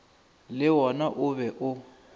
le wona o be o